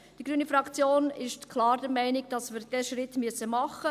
Die Fraktion Grüne ist klar der Meinung, dass wir diesen Schritt tun müssen.